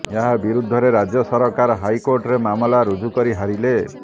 ଏହା ବିରୁଦ୍ଧରେ ରାଜ୍ୟ ସରକାର ହାଇକୋର୍ଟରେ ମାମଲା ରୁଜୁକରି ହାରିଲେ